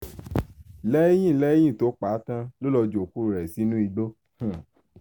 lẹ́yìn lẹ́yìn tó pa àá tán ló lọ́ọ́ ju òkú rẹ̀ sínú igbó